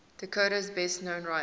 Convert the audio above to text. dakota's best known writers